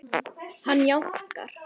Hann jánkar.